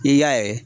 I y'a ye